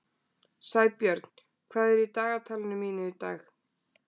Sæbjörn, hvað er í dagatalinu mínu í dag?